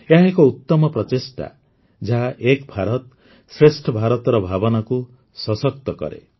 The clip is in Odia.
ଏହା ଏକ ଉତ୍ତମ ପ୍ରଚେଷ୍ଟା ଯାହା ଏକ ଭାରତଶ୍ରେଷ୍ଠ ଭାରତର ଭାବନାକୁ ସଶକ୍ତ କରେ